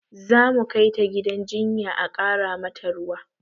Zamu kai ta gidan jinya a ƙara mata ruwa